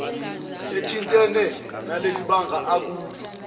ethintene nalelibanga akulo